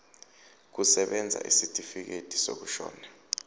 kusebenza isitifikedi sokushona